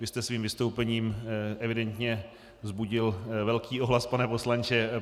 Vy jste svým vystoupením evidentně vzbudil velký ohlas, pane poslanče.